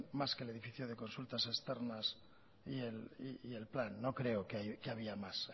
más que el edificio de consultas externas y el plan no creo que había más